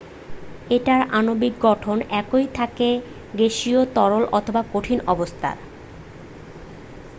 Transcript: এটার আণবিক গঠন একই থাকে গ্যাসীয় তরল অথবা কঠিন অবস্থায়